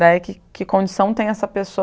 Daí que que condição tem essa pessoa?